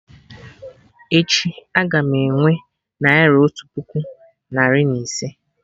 Echi, a-ga m enwe Naira otu puku narị na ise